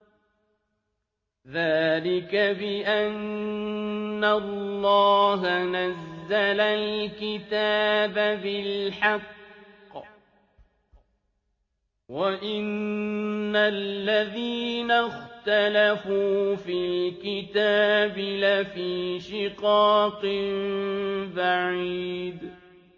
ذَٰلِكَ بِأَنَّ اللَّهَ نَزَّلَ الْكِتَابَ بِالْحَقِّ ۗ وَإِنَّ الَّذِينَ اخْتَلَفُوا فِي الْكِتَابِ لَفِي شِقَاقٍ بَعِيدٍ